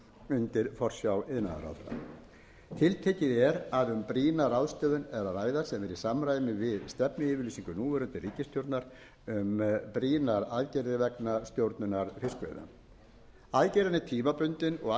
undir forsjá iðnaðarráðherra tiltekið er að um brýna ráðstöfun er að ræða sem er í samræmi við stefnuyfirlýsingu núverandi ríkisstjórnar um brýnar aðgerðir vegna stjórnunar fiskveiða aðgerðin er tímabundin að